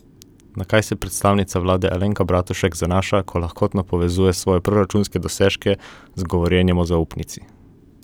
Na kaj se predsednica vlade Alenka Bratušek zanaša, ko lahkotno povezuje svoje proračunske dosežke z govorjenjem o zaupnici?